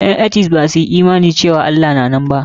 Ƴan etist ba su yi imani cewa Allah na nan ba.